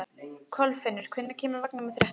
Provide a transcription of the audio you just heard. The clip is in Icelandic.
Kolfinnur, hvenær kemur vagn númer þrettán?